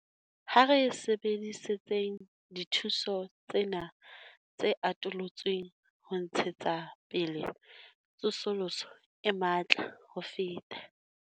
Ha re sebedisetseng dithuso tsena tse atolotsweng ho ntshetsa pele tsosoloso e matla ho feta.